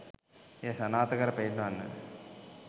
එය සනාථ කර පෙන්වන්න